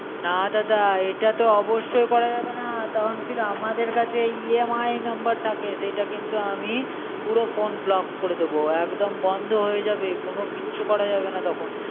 না দাদা এটাতো অবশ্যই করা যাবে না তখন কিন্তুু আমাদের কাছে EMI number থাকে সেইটা কিন্তু আমি পুরো phone block করে দেবো, একদম বন্ধ হয়ে যাবে কোনও কিচ্ছু করা যাবে না তখন